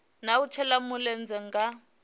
na u shela mulenzhe nga